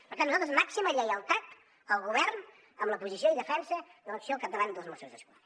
per tant nosaltres màxima lleialtat al govern en la posició i defensa de l’acció al capdavant dels mossos d’esquadra